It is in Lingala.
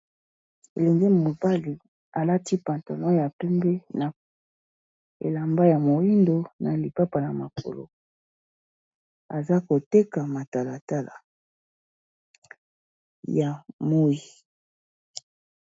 Elenge mobale, alati pantalo ya pembe, na elamba ya moindo, na lipapa na makolo. Aza koteka matalatala ya moi.